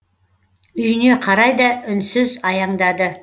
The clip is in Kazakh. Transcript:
үйіне қарай да үнсіз аяңдады